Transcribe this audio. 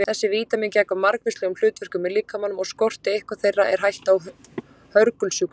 Þessi vítamín gegna margvíslegum hlutverkum í líkamanum og skorti eitthvert þeirra er hætta á hörgulsjúkdómi.